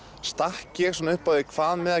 stakk ég upp á að hvað með